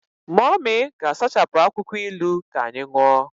Mummy ga-asachapụ akwụkwọ ilu ka anyị ṅụọ.